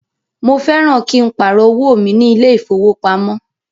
Mo fẹ́ran kí n pàrọ̀ owó mi ní ilé ìfowópamọ́